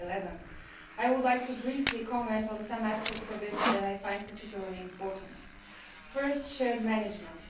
2011. I would like to briefly comment on some aspects of it that I find particularly important. Firstly shared management.